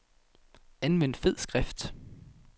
Anvend fed skrift.